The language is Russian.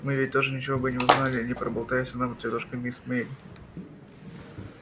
мы ведь тоже ничего бы не узнали не проболтайся нам тётушка мисс мелли